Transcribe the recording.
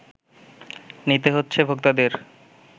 নিতে হচ্ছে ভোক্তাদের